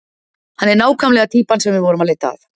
Hann er nákvæmlega týpan sem við vorum að leita að.